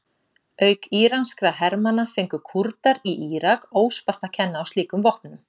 Auk íranskra hermanna fengu Kúrdar í Írak óspart að kenna á slíkum vopnum.